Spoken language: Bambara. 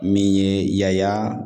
Min ye yala